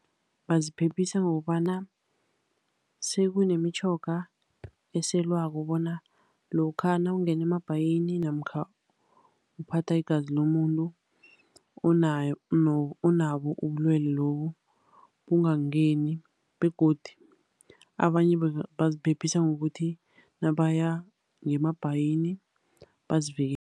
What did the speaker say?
Baziphephisa ngokobana sekunemitjhoga eselwako bona lokha nawungene emabhayini, namkha uphatha igazi lomuntu onabo ubulwele lobu, bungakungeni. Begodu, abanye baziphephisa ngokuthi nabaya ngemabhayini bazivikele.